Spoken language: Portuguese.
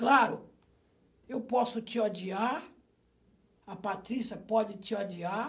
Claro, eu posso te odiar, a Patrícia pode te odiar,